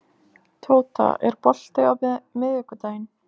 Tóta, er bolti á miðvikudaginn?